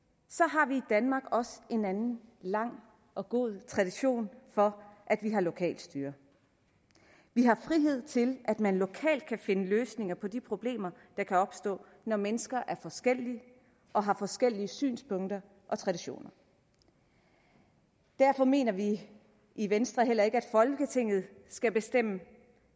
har vi i danmark også en anden lang og god tradition for at vi har lokalt styre vi har frihed til at man lokalt kan finde løsninger på de problemer der kan opstå når mennesker er forskellige og har forskellige synspunkter og traditioner derfor mener vi i venstre heller ikke at folketinget skal bestemme